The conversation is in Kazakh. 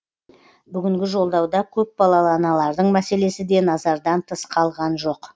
бүгінгі жолдауда көпбалалы аналардың мәселесі де назардан тыс қалған жоқ